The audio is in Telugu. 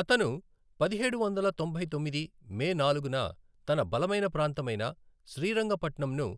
అతను పదిహేడు వందల తొంభై తొమ్మిది మే నాలుగున తన బలమైన ప్రాంతమైన శ్రీరంగ పట్నంను